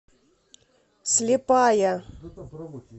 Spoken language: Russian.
слепая